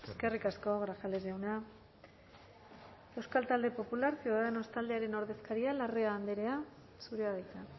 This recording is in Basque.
eskerrik asko grajales jauna euskal talde popular ciudadanos taldearen ordezkaria larrea andrea zurea da hitza